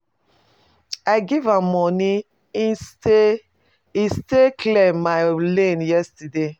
I give am money e stay e stay clear my lane yesterday.